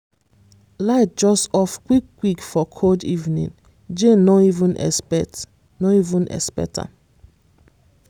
light just off quick quick for cold evening jane no even expect no even expect am.